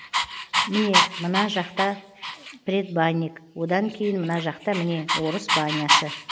міне мына жақта предбанник одан кейін мына жақта міне орыс банясы